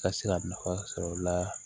Ka se ka nafa sɔrɔ o la